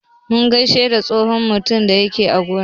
Mun gaishe da tsohon mutumin da yake aiki a gona.